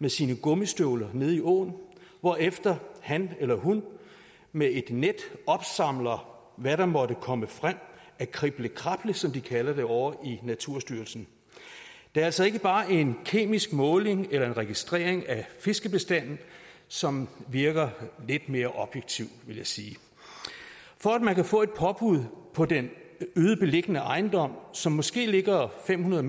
med sine gummistøvler nede i åen hvorefter han eller hun med et net opsamler hvad der måtte komme frem af krible krable som de kalder det ovre i naturstyrelsen det er altså ikke bare en kemisk måling eller en registrering af fiskebestanden som virker lidt mere objektiv vil jeg sige for at man kan få et påbud på den øde beliggende ejendom som måske ligger fem hundrede